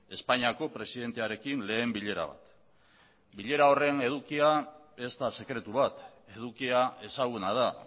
espainiako presidentearekin lehen bilera bat bilera horren edukia ez da sekretu bat edukia ezaguna da